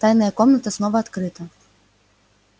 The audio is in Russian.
тайная комната снова открыта